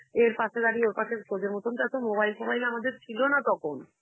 এর পাশে দাঁড়িয়ে, ওর পাশে, তোদের মতন তো এত mobile ফোবাইল আমাদের ছিল না তখন.